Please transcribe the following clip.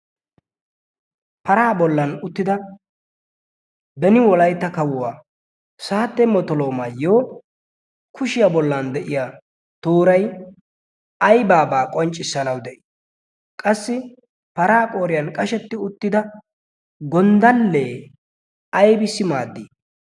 paraa bollan uttida beni wolaitta kawuwaa saatte motoloomaayyo kushiyaa bollan de7iya toorai aibaabaa qonccissanawu de7ii? qassi paraa qooriyan qashetti uttida gonddallee aibissi maaddii?